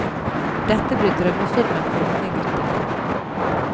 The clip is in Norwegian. Dette blir drømmefilmen for unge gutter.